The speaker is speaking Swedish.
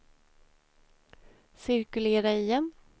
cirkulera igen